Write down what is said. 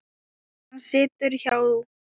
Hann situr hjá